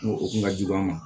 O o kun ka jugu an ma